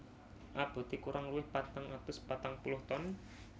Aboté kurang luwih patang atus patang puluh ton